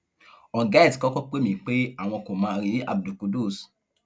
ọgá ẹ ti kọkọ pè mí pé àwọn kò má rí abdul qudus